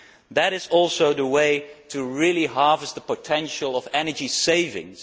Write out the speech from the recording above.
that is also the way to really harvest the potential of energy savings.